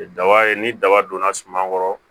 Daba ye ni daba donna suma kɔrɔ